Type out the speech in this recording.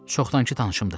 Çoxdankı tanışımdır.